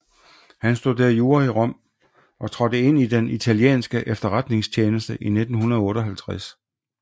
Han studerede jura i Rom og trådte ind i den italienske efterretningstjeneste i 1958